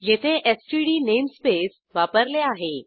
येथे STD namespace वापरले आहे